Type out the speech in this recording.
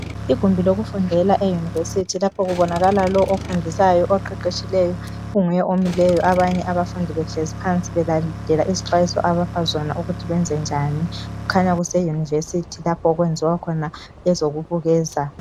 igumbi lokufundela e university lapha kubonakala lo ofundisayo oqeqetshileyo onguye omileyo abanye abafundi behlezi phansi belalele izixwayiso ukuthi benze njani kukhanya kuse university lapho okwenziwa khona ezokubukeza